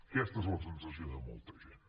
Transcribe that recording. aquesta és la sensació de molta gent